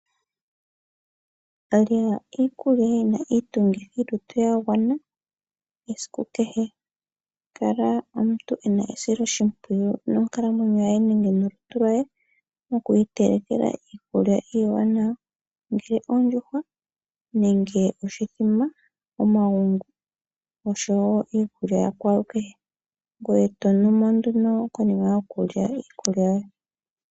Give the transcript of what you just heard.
Lyeni iikulya yi na iitungithilutu ya gwana, kala omuntu e na esiloshimpwiyu monkalamwenyo yoye nenge nolutu lwoye, moku itelekela iikulya ya gwana. Ongele ondjuhwa nenge oshithima, omagungu oshowo iikulya yakwalukehe. Ngoye to numo nduno konima yokulya iikulya yoye.